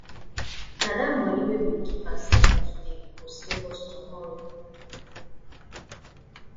na that money wey we keep aside today go save us tomorrow